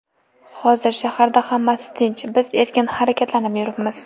Hozir shaharda hammasi tinch, biz erkin harakatlanib yuribmiz.